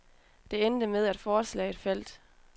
Det endte med, at forslaget faldt.